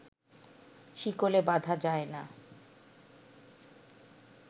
শিকলে বাঁধা যায় না